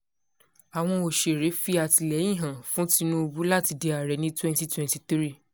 àwọn òṣèré fi àtìlẹ́yìn hàn fún tinubu láti di ààrẹ ní twenty twenty three